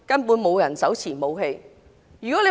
沒有人手持武器。